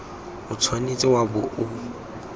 o tshwanetse wa bo o